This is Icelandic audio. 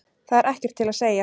Það er ekkert til að segja.